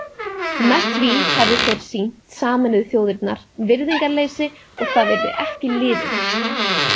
Með því hefðu þeir sýnt Sameinuðu þjóðirnar virðingarleysi og það yrði ekki liðið.